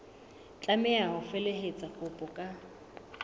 tlameha ho felehetsa kopo ka